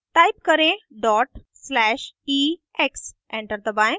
type करें dot slash ex enter दबाएं